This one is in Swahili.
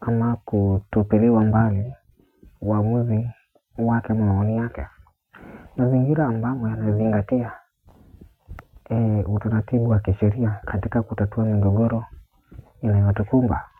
Ama kutupiliwa mbali uamuzi wake moyoni mwake mazingira ambamo yana zingatia utaratibu wa kishiria katika kutatua migogoro inayotukumba.